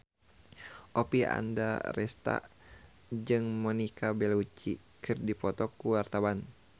Oppie Andaresta jeung Monica Belluci keur dipoto ku wartawan